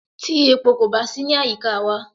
Tí epo kò bá sí ní àyíká wa.